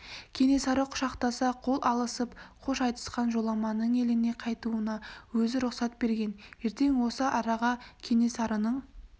кенесары құшақтаса қол алысып қош айтысқан жоламанның еліне қайтуына өзі рұқсат берген ертең осы араға кенесарының